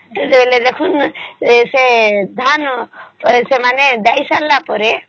ବେଳେ ସେ ଧାନ ସେମାନେ ଦେଇ ସରିଲା ପରେ